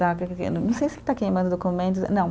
Não sei se está queimando documentos, não.